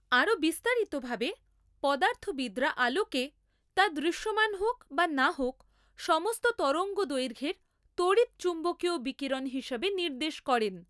আরও বিস্তারিতভাবে, পদার্থবিদরা আলোকে, তা দৃশ্যমান হোক বা না হোক, সমস্ত তরঙ্গদৈর্ঘ্যের তড়িৎ চুম্বকীয় বিকিরণ হিসাবে নির্দেশ করেন।